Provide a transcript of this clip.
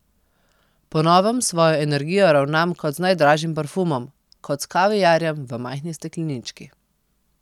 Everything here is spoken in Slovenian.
Po novem s svojo energijo ravnam kot z najdražjim parfumom, kot s kaviarjem v majhni steklenički.